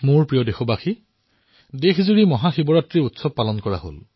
মোৰ মৰমৰ দেশবাসীসকল অলপতে সমগ্ৰ দেশত মহাশিৱৰাত্ৰি পালন কৰা হৈছে